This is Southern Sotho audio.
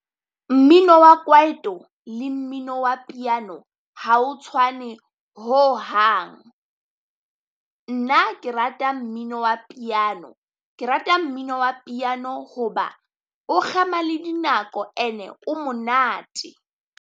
Mmino wa kwaito le mmino wa piano ha o tshwane ho hang, nna ke rata mmino wa piano. Ke rata mmino wa piano hoba o kgema le dinako and-e o monate.